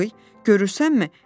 Qız, görürsənmi?